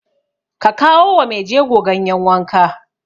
Ka kawo wa maijego ganyen wanka!